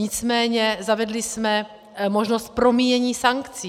Nicméně zavedli jsme možnost promíjení sankcí.